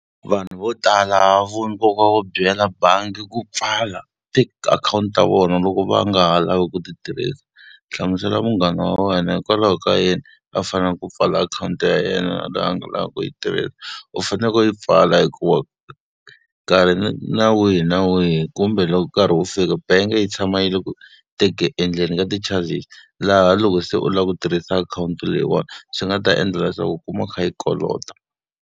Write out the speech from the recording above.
Vanhu vo tala vo nkoka wo byela bangi ku pfala tiakhawunti ta vona loko va nga ha lavi ku ti tirhisa, hlamusela munghana wa wena hikwalaho ka yini a fanele ku pfala akhawunti ya yena leyi a nga ha lavi ku yi tirhisa. U faneleke u yi pfala hikuva nkarhi na wihi na wihi kumbe loko nkarhi wu fika bank yi tshama yi ri eku endleni ka ti-charges, laha loko se u lava ku tirhisa akhawunti leyiwani swi nga ta endla leswaku u kuma u kha yi kolota.